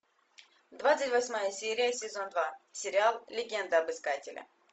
двадцать восьмая серия сезон два сериал легенда об искателе